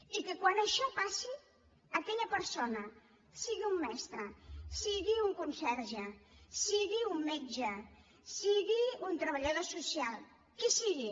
i que quan això passi aquella persona sigui un mestre sigui un conserge sigui un metge sigui un treballador social qui sigui